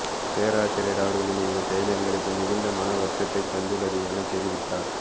பேராசிரியர் அவர்களின் இந்த செயல் எங்களுக்கு மிகுந்த மன வருத்தத்தை தந்துள்ளதுஎன தெரிவித்தார்